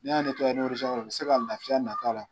N'i y'a ni u bɛ se ka laafiya nati a la.